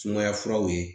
Sumaya furaw ye